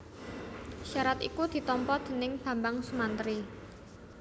Syarat iku ditampa déning Bambang Sumantri